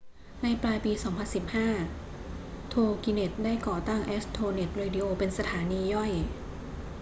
ในปลายปี 2015 toginet ได้ก่อตั้ง astronet radio เป็นสถานีย่อย